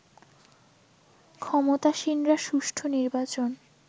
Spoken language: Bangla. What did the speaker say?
ক্ষমতাসীনরা সুষ্ঠু নির্বাচন